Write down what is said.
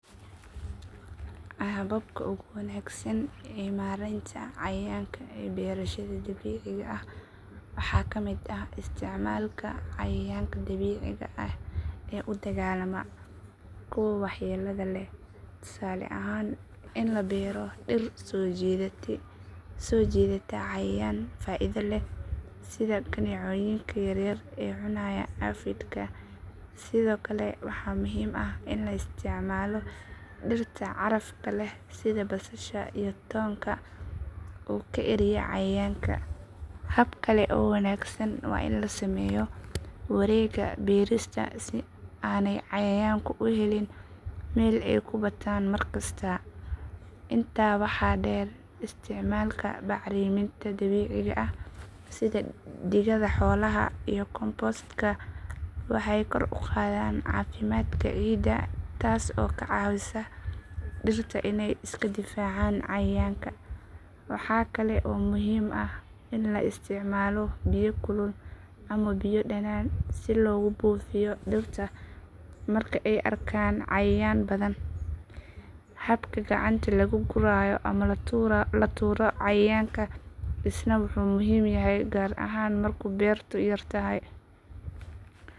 Hababka ugu wanaagsan ee maareynta cayayaanka ay beerashada dabiiciga ah waxaa ka miid ah isticmaalka cayayaanka dabiiciga ah ee u dagaallama kuwa waxyeellada leh tusaale ahaan in la diro dil soo jiidata soo jiidata cayayaan faa'iido leh sida kaneecooyinka yar yar ee cunaya aphid ka sidoo kale waxa muhiim ah in laa isticmaalo dhirta carafta leh sida basasha iyo tonka uu ka eryaa cayayaanka hab kale oo wanaagsan waa in la sameeyo Wareega beerista si aaney cayaaan ku helin Meel ay ku bataan mar kasta intaa waxaa dheer isticmaalka bacriminta dabiiciga ah sida digada xoolaha iyo compost ka waxaay kor uqadan cafimatka ciida taas oo ka caawisa dhirta iney iska difaacaan cayayaanka Waxaa kale oo muhiim ah in la isticmaalo biyo kulul ama biyo dhanaan si looga buufiyo dirtata marka ay arkaan cayayaan badan xabka gacanta lagu gurayo ama tuura cayayaanka isna waxu muhiim yahay gaar ahan marka beerta yartahay.